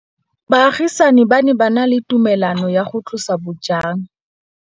Baagisani ba ne ba na le tumalanô ya go tlosa bojang.